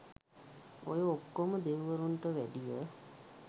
ඔය ඔක්කොම දෙවිවරුන්ට වැඩිය